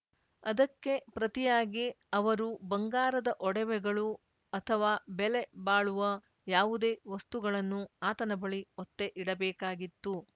ಅದಕ್ಕೆ ಪ್ರತಿಯಾಗಿ ಅವರು ಬಂಗಾರದ ಒಡವೆಗಳು ಅಥವಾ ಬೆಲೆ ಬಾಳುವ ಯಾವುದೇ ವಸ್ತುಗಳನ್ನು ಆತನ ಬಳಿ ಒತ್ತೆ ಇಡಬೇಕಾಗಿತ್ತು